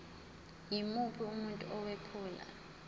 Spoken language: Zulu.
yimuphi umuntu owephula